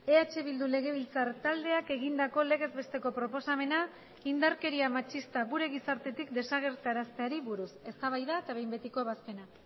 eh bildu legebiltzar taldeak egindako legez besteko proposamena indarkeria matxista gure gizartetik desagerrarazteari buruz eztabaida eta behin betiko ebazpena